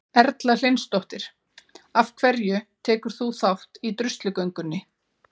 Erla Hlynsdóttir: Af hverju tekur þú þátt í druslugöngunni?